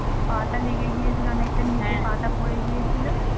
পা টা লেগে গিয়েছিল অনেকটা নিচে পা টা পড়ে গিয়েছিল।